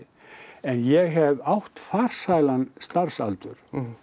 en ég hef átt farsælan starfsaldur